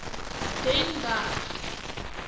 den berg